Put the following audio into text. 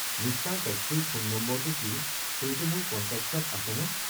Mister. টেক্সিৰ phone নম্বৰটো কি সেইটো মোৰ কন্টেক্টছ্ত আছেনে